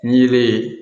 N'i yelen ye